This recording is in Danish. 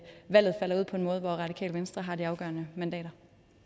valget falder ud på en måde hvor radikale venstre har de afgørende mandater